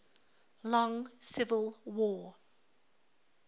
long civil war